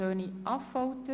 3.d Steuern